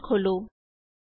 terminal ਖੋਲੋ੍